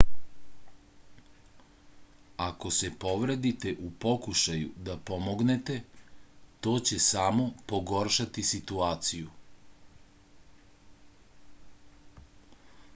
ako se povredite u pokušaju da pomognete to će samo pogoršati situaciju